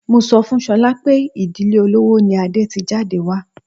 Mo sọ fún Sola pé ìdílé olówó ni Adé ti jáde wá.